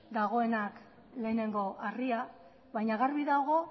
dagoenak lehenengo harria baina garbi dago